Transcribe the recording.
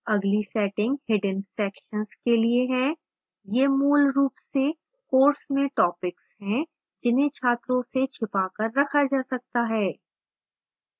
अगली setting hidden sections के लिए है